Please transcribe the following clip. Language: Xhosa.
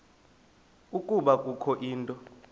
ukuba kukho into